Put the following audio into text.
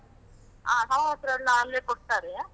ಹಾ ಸಮವಸ್ತ್ರ ಎಲ್ಲ ಅಲ್ಲೇ ಕೊಡ್ತಾರೆ.